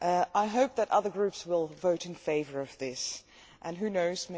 I hope that other groups will vote in favour of this and who knows?